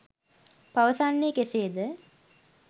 පවසන්නේ කෙසේ ද?